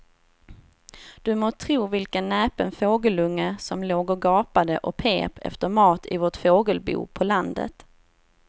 Du må tro vilken näpen fågelunge som låg och gapade och pep efter mat i vårt fågelbo på landet.